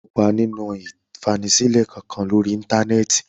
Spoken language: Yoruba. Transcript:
O kò ní kópa nínú ìfanisílẹ̀ kankan lórí Íńtánẹ́ẹ̀tì.